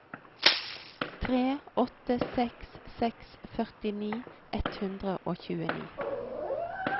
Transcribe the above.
tre åtte seks seks førtini ett hundre og tjueni